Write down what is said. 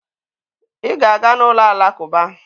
Ị ga-aga n'ụlọ alakụba!